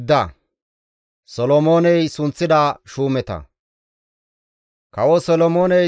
Kawo Solomooney Isra7eele biitta ubbaa bolla kawotides.